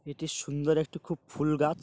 এটি সুন্দর একটি খুব ফুল গাছ।